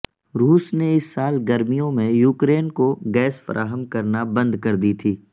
روس نے اس سال گرمیوں میں یوکرین کو گیس فراہم کرنا بند کردی تھی